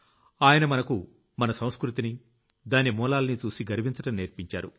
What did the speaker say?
ఆయన మనకు మన సంస్కృతిని దాని మూలాల్నీ చూసి గర్వించడం నేర్పించారు